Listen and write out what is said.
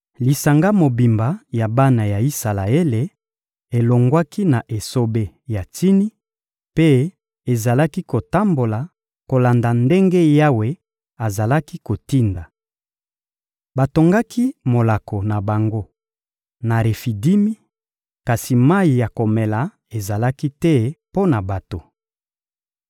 Lisanga mobimba ya bana ya Isalaele elongwaki na esobe ya Tsini mpe ezalaki kotambola kolanda ndenge Yawe azalaki kotinda. Batongaki molako na bango na Refidimi, kasi mayi ya komela ezalaki te mpo na bato.